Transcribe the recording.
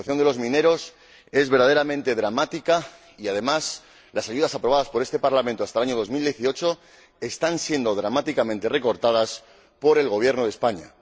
La situación de los mineros es verdaderamente dramática y, además, las ayudas aprobadas por este Parlamento hasta el año 2018 están siendo dramáticamente recortadas por el Gobierno de España.